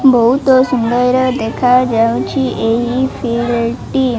ବହୁତ ସୁନ୍ଦର ଦେଖାଯାଉଛି ଏହି ଟି।